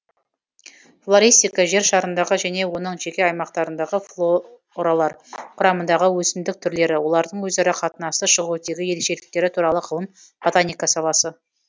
флористика жер шарындағы және оның жеке аймақтарындағы форалар құрамындағы өсімдік түрлері олардың өзара қатынасы шығу тегі ерекшеліктері туралы ғылым ботаника саласы